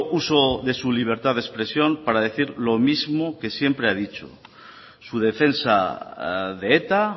uso de su libertad de expresión para decir lo mismo que siempre ha dicho su defensa de eta